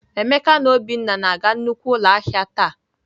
Emeka na Obinna na-aga nnukwu ụlọ ahịa taa.